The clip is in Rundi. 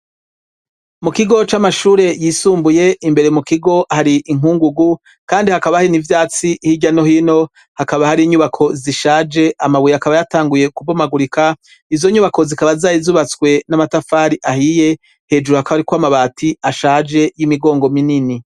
mu kigo c'amashure yisumbuye imbere mu kigo hari inkungugu kandi hakaba hari n'ivyatsi yano hino hakaba hari inyubako zishaje amabuye akaba yatanguye kubomagurika izo nyubako zikaba zarizubatswe n'amatafari ahiye hejuru hakaba hariko amabati ashaje y'imigongo minini